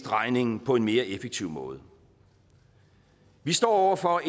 regningen på en mere effektiv måde vi står over for